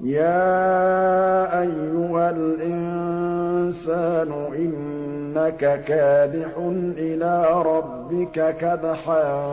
يَا أَيُّهَا الْإِنسَانُ إِنَّكَ كَادِحٌ إِلَىٰ رَبِّكَ كَدْحًا